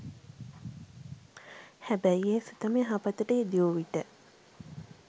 හැබැයි ඒ සිතම යහපතට යෙද වූ විට